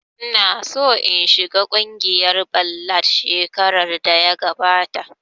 Ina so in shiga kungiyar ballad shekarar da ya gabata